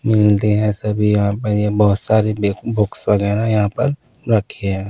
मिलते हैं सभी यहां पे ये बहुत सारी ले बुक्स वगैरह यहां पर रखी हैं।